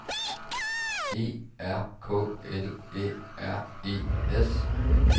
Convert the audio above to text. E R K L Æ R E S